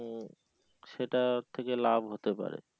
সেটার থেকে লাভ হতে পারে।